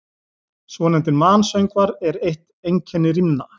Svonefndir mansöngvar eru eitt einkenni rímna.